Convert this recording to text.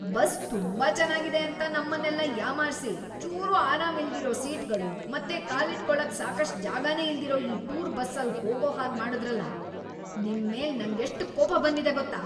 Bus ತುಂಬಾ ಚೆನಾಗಿದೆ ಅಂತ ನಮ್ಮನ್ನೆಲ್ಲ ಯಾಮಾರ್ಸಿ ಚೂರೂ ಆರಾಮಿಲ್ದಿರೋ ಸೀಟ್ಗಳು ಮತ್ತೆ ಕಾಲಿಟ್ಕೊಳಕ್‌ ಸಾಕಷ್ಟ್‌ ಜಾಗನೇ ಇಲ್ದಿರೋ ಈ ಟೂರ್ ಬಸ್ಸಲ್ಲ್‌ ಹೋಗೋ ಹಾಗ್‌ ಮಾಡುದ್ರಲ, ನಿಮ್ಮೇಲ್‌ ನಂಗೆಷ್ಟ್‌ ಕೋಪ ಬಂದಿದೆ ಗೊತ್ತಾ?